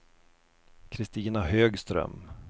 Kristina Högström